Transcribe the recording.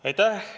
Aitäh!